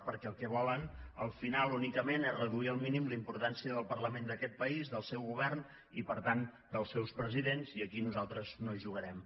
perquè el que volen al final únicament és reduir al mínim la importància del parlament d’aquest país del seu govern i per tant dels seus presidents i aquí nosaltres no hi jugarem